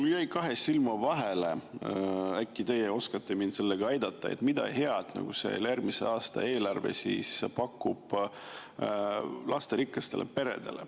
Mul jäi kahe silma vahele, äkki teie oskate mind aidata, mida head pakub järgmise aasta eelarve lasterikastele peredele.